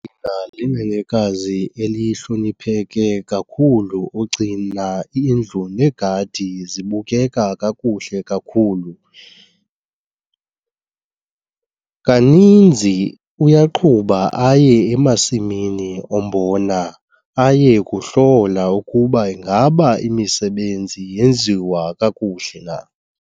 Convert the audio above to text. Alina linenekazi elihlonipheke kakhulu ogcina indlu negadi zibukeka kakuhle kakhulu. Kaninzi uyaqhuba aye emasimini ombona aye kuhlola ukuba ingaba imisebenzi yenziwa kakuhle na.